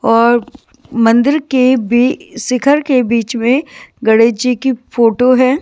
और मंदिर के भी शिखर के बीच में गणेश जी की फोटो है।